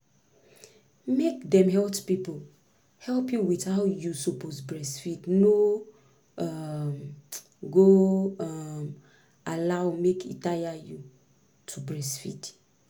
make dem health people help you with how you suppose breastfeed no um go um allow make e tire you to breastfeed.